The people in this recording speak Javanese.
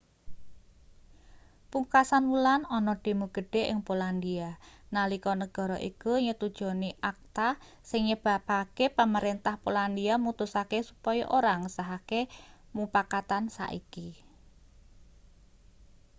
pungkasan wulan ana demo gedhe ing polandia nalika negara iku nyetujoni acta sing nyebabake pamrentah polandia mutusake supaya ora ngesahake mupakatan saiki